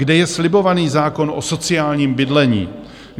Kde je slibovaný zákon o sociálním bydlení?